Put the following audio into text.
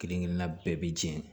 Kelen kelenna bɛɛ bi jɛ